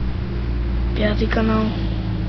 пятый канал